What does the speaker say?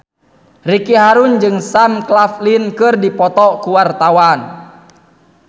Ricky Harun jeung Sam Claflin keur dipoto ku wartawan